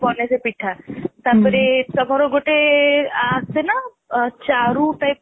ବନେ ସେ ପିଠା ତା ପରେ ତମର ଗୋଟେ ଆସେ ନା ଚାରୁ type ର